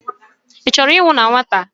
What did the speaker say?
Ị chọrọ ịnwụ na nwata?